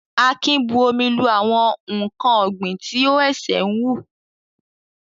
Akin bu omi lu àwọn ǹkan ọ̀gbìn tí ó ṣe ń wù.